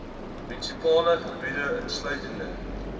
munisipale gebied insluitende